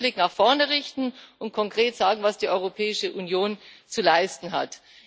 Wir müssen den Blick nach vorne richten und konkret sagen, was die Europäische Union zu leisten hat.